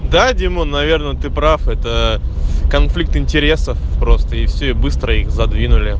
да дима наверное ты прав это конфликт интересов просто и все и быстро их задвинули